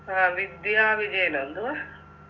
ആ വിദ്യ വിജയനാ എന്തുവാ